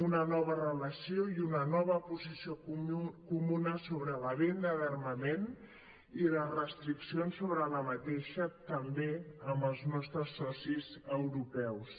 una nova relació i una nova posició comuna sobre la venda d’armament i les restriccions sobre aquesta també amb els nostres socis europeus